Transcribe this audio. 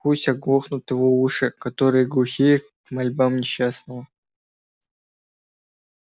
пусть оглохнут его уши которые глухи к мольбам несчастного